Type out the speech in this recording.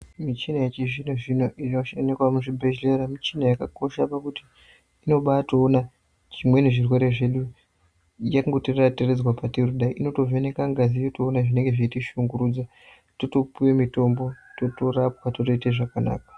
Michina yechizvino zvino inoonekwa muzvibhehlera michina yakakosha pakuti inobatoona chimweeni zvirwere zvedu yekutiradza patiri pedu inotovheneka ngazi yotoona zvinenge zveitishungurudza totopihwe mitombo totorapwa totoita zvakanaka.